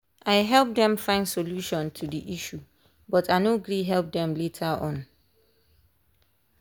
i help dem find solution to the issue but i no gree help them later on.